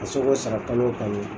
Ka se k'o sara kalo o kalo.